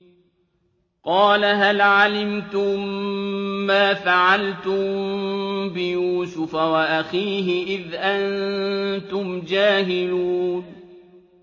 قَالَ هَلْ عَلِمْتُم مَّا فَعَلْتُم بِيُوسُفَ وَأَخِيهِ إِذْ أَنتُمْ جَاهِلُونَ